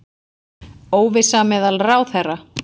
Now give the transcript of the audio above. Óvissa meðal ráðherra